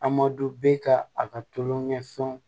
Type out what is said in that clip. A ma don bɛɛ ka a ka tulonkɛ fɛnw